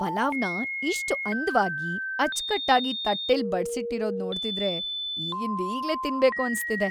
‌ಪಲಾವ್‌ನ ಇಷ್ಟ್ ಅಂದವಾಗಿ, ಅಚ್ಕಟ್ಟಾಗಿ ತಟ್ಟೆಲ್‌ ಬಡ್ಸಿಟ್ಟಿರೋದ್ ನೋಡ್ತಿದ್ರೆ ಈಗಿಂದೀಗ್ಲೇ ತಿನ್ಬೇಕು ಅನ್ಸ್ತಿದೆ.